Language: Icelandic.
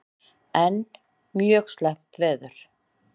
Enn mjög slæmt veður